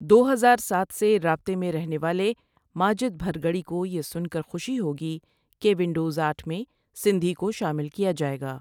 دو ہزار ساتھ سے رابطے میں رہنے والے ماجد بھرگڑی کو یہ سن کر خوشی ہوگی کہ وندوز آٹھ میں سندھی کو شامل کیا جائے گا۔